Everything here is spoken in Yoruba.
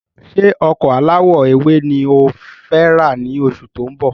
Ṣé ọkọ̀ alawọ ewé ni ọ fẹ ra ni oṣù tó ń bọ̀?